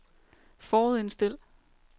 forudindstil